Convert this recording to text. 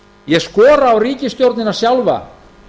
ég skora á ríkisstjórnina sjálfa